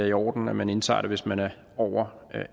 i orden at man indtager det hvis man er over